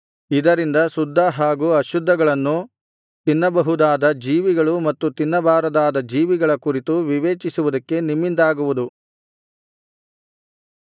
ಇದರಿಂದ ಶುದ್ಧ ಹಾಗು ಅಶುದ್ಧಗಳನ್ನು ತಿನ್ನಬಹುದಾದ ಜೀವಿಗಳು ಮತ್ತು ತಿನ್ನಬಾರದಾದ ಜೀವಿಗಳ ಕುರಿತು ವಿವೇಚಿಸುವುದಕ್ಕೆ ನಿಮ್ಮಿಂದಾಗುವುದು